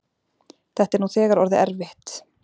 Þetta er nú þegar orðið erfitt.